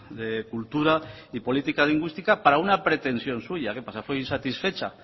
de cultura y política lingüística para una pretensión suya qué pasa fue insatisfecha